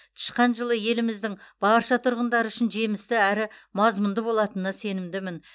тышқан жылы еліміздің барша тұрғындары үшін жемісті әрі мазмұнды болатынына сенімдімін